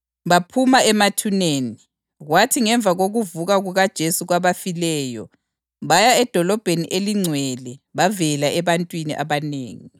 Baphuma emathuneni, kwathi ngemva kokuvuka kukaJesu kwabafileyo baya edolobheni elingcwele bavela ebantwini abanengi.